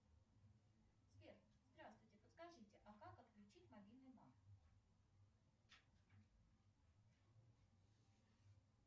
сбер здравствуйте подскажите а как отключить мобильный банк